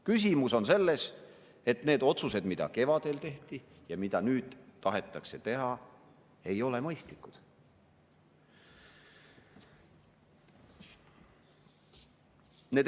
Küsimus on selles, et need otsused, mis kevadel tehti, ja mida nüüd tahetakse teha, ei ole mõistlikud.